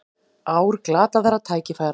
Ár glataðra tækifæra